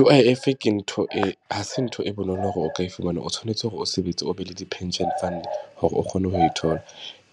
U_I_F ke ntho e, ha se ntho e bonolo hore o ka e fumana. O tshwanetse hore o sebetse o be le di-pension fund hore o kgone ho e thola.